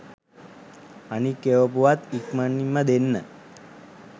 අනික් එවපුවත් ඉක්මනින්ම දෙන්න